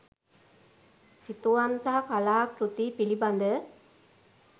සිතුවම් සහ කලා කෘති පිළිබඳ